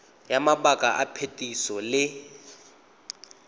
ya mabaka a phetiso le